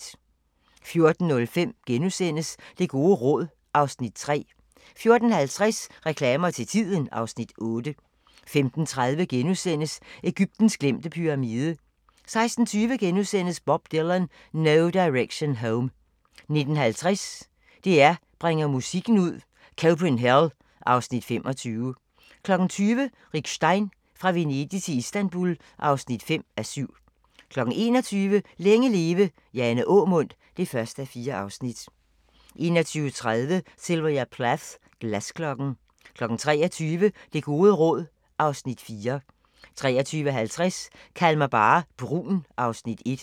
14:05: Det gode råd (Afs. 3)* 14:50: Reklamer til tiden (Afs. 8) 15:30: Egyptens glemte pyramide * 16:20: Bob Dylan - No Direction Home * 19:50: DR2 bringer musikken ud – Copenhell (Afs. 25) 20:00: Rick Stein: Fra Venedig til Istanbul (5:7) 21:00: Længe leve – Jane Aamund (1:4) 21:30: Sylvia Plath – Glasklokken 23:00: Det gode råd (Afs. 4) 23:50: Kald mig bare brun (Afs. 1)